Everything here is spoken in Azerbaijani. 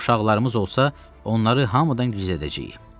Əgər uşaqlarımız olsa, onları hamıdan gizlədəcəyik.